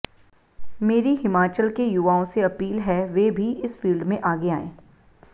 मेरी हिमाचल के युवाओं से अपील है वे भी इस फील्ड में आगे आएं